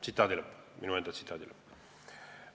Tsitaadi lõpp – minu enda tsitaadi lõpp.